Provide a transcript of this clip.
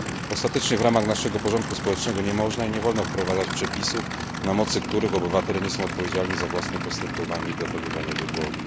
Ostatecznie w ramach naszego porządku społecznego nie można i nie wolno wprowadzać przepisów, na mocy których obywatele nie są odpowiedzialni za własne postępowanie i dokonywane wybory.